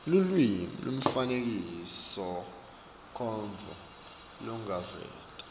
lulwimi nemifanekisomcondvo lolungaveta